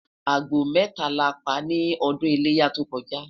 àgbò meta la pa ní ọdún iléyá tó koja